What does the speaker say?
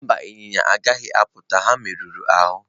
Mba, ịnyịnya agaghị apụ taa ha merụrụ ahụ.